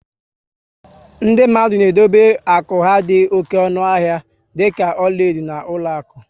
Ndị mmadụ na edobe akụ ha dị ọnụ oké ahịa dịka ọlaedo na ụlọakụ